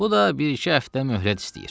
Bu da bir-iki həftə möhlət istəyir.